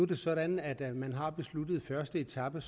det sådan at man har besluttet første etape